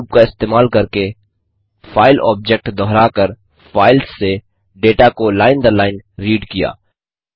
four loop का इस्तेमाल करके फाइल ऑब्जेक्ट दोहराकर फाइल्स से डेटा को लाइन दर लाइन रीड किया